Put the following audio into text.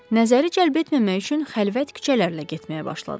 Nəzəri cəlb etməmək üçün xəlvət küçələrlə getməyə başladılar.